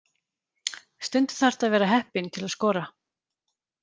Stundum þarftu að vera heppinn til að skora.